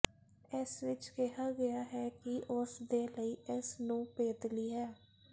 ਇਸ ਵਿਚ ਕਿਹਾ ਗਿਆ ਹੈ ਕਿ ਉਸ ਦੇ ਲਈ ਇਸ ਨੂੰ ਪੇਤਲੀ ਹੈ